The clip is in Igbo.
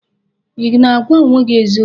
Ị na-agwa onwe gị eziokwu?